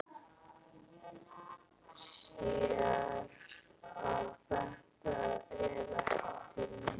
Sér að þetta er ekki til neins.